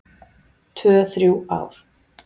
Tvö, þrjú ár.